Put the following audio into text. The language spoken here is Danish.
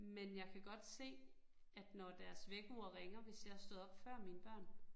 Men jeg kan godt se, at når deres vækkeur ringer, hvis jeg stået op før mine børn